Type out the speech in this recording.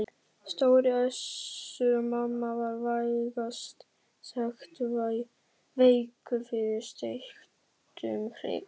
Stóri Össur-Mamma var vægast sagt veikur fyrir steiktum hrygg.